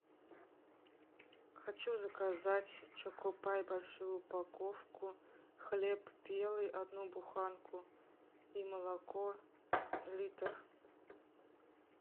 хочу заказать чокопай большую упаковку хлеб белый одну буханку и молоко литр